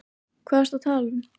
Hvað ertu að tala um?